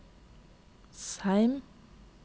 Seim